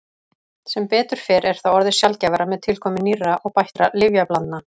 sem betur fer er það orðið sjaldgæfara með tilkomu nýrra og bættra lyfjablandna